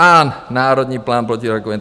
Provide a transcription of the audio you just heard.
A Národní plán proti rakovině.